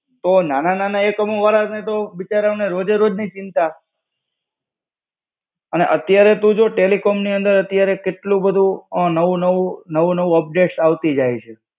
તો નાના નાનાઓને તો, બિચારાઓને તો રોજે રોજ ની ચિંતા. અને અત્યારે તું જો ટેલિકોમ ની અંદર અત્યારે કેટલું બધું નવું-નવું નવું-નવું ઉપડેટસ આવતી જાય છે